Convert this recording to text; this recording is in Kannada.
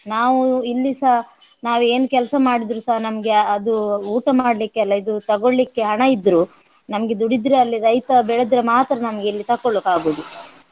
ನಾವು ಇಲ್ಲಿ ಸಹ ನಾವು ಏನು ಕೆಲ್ಸ ಮಾಡಿದ್ರು ಸಹ ನಮ್ಗೆ ಅ~ ಅದು ಊಟ ಮಡ್ಲಿಕ್ಕೆಲ್ಲ ಇದು ತಗೊಳ್ಲಿಕ್ಕೆ ಹಣ ಇದ್ರು ನಮ್ಗೆ ದುಡಿದ್ರೆ ಅಲ್ಲಿ ರೈತ ಬೆಳೆದ್ರೆ ಮಾತ್ರ ನಮ್ಗೆ ಇಲ್ಲಿ ತೊಕೊಳ್ಳಿಕ್ಕಾಗುವುದು